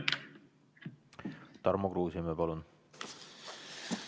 Tarmo Kruusimäe, palun!